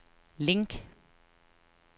link